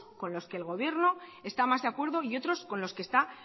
con los que el gobierno está más de acuerdo y otros con los que está